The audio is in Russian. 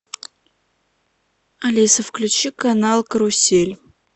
алиса включи канал карусель